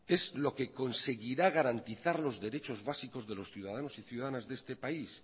es lo que conseguirá garantizar los derechos básicos de los ciudadanos y ciudadanas de este país